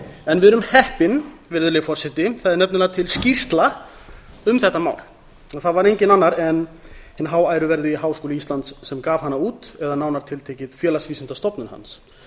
en við erum heppin virðulegi forseti það er nefnilega til skýrsla um þetta mál og það var enginn annar en hinn háæruverðugi háskóli íslands sem gaf hana út eða nánar tiltekið félagsvísindastofnun hans